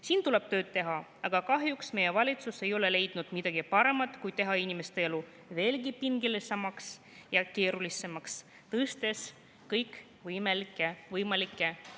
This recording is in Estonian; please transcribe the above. Siin tuleb tööd teha, aga kahjuks meie valitsus ei ole leidnud midagi paremat kui teha inimeste elu veelgi pingelisemaks ja keerulisemaks, tõstes kõikvõimalikke makse.